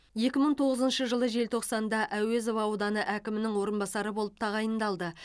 екі мың тоғызыншы жылы желтоқсанда әуезов ауданы әкімінің орынбасары болып тағайындалды